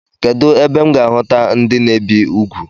Kedụ ebe m ga-ahuta ndị na-ebi ugwu?